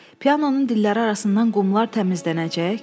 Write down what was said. Pianonun dilləri arasından qumlar təmizlənəcək?